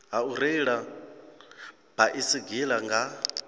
ha u reila baisigila nga